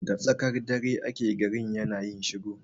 Da tsakar dare ake garin yana yin shiru